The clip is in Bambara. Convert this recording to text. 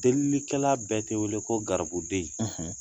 Delillikɛla bɛɛ te wele ko garibuden.